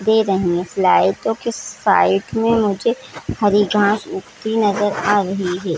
दे रही है के साइड में मुझे हरी घास उगती नजर आ रही है.